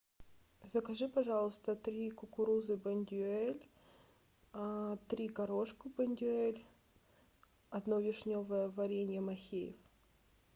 закажи пожалуйста три кукурузы бондюэль три горошка бондюэль одно вишневое варенье махеев